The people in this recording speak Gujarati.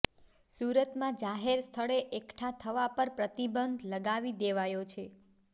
સુરતમાં જાહેર સ્થળે એકઠાં થવા પર પ્રતિબંધ લગાવી દેવાયો છે